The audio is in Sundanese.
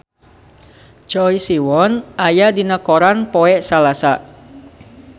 Choi Siwon aya dina koran poe Salasa